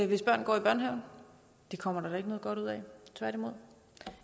hvis børn går i børnehave det kommer der da ikke noget godt ud af tværtimod